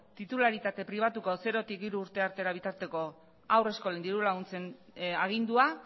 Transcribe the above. titularitate pribatuko zerotik hiru urte arte bitarteko haur eskolen diru laguntzen agindua